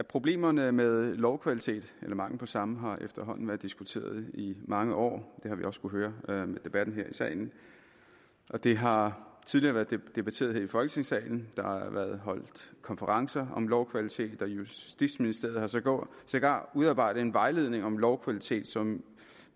problemerne med lovkvalitet eller mangel på samme har efterhånden været diskuteret i mange år det har vi også kunnet høre af debatten her i salen det har tidligere været debatteret her i folketingssalen der har været holdt konferencer om lovkvalitet og justitsministeriet har sågar sågar udarbejdet en vejledning om lovkvalitet som